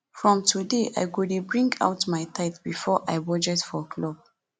from today i go dey bring out my tithe before i budget money for club